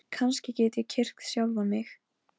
Árnína, hvað er jörðin stór?